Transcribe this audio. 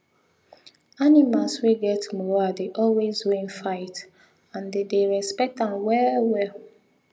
animal wey get moral dey always win fights and them dey respect am well well